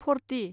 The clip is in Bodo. फ'र्टि